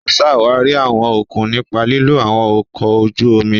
O ṣawari awọn okun nipa lilo awọn ọkọ ojú omi.